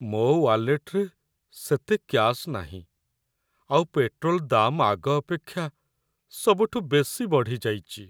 ମୋ' ୱାଲେଟ୍‌ରେ ସେତେ କ୍ୟାଶ୍ ନାହିଁ ଆଉ ପେଟ୍ରୋଲ ଦାମ୍ ଆଗ ଅପେକ୍ଷା ସବୁଠୁ ବେଶି ବଢ଼ିଯାଇଚି ।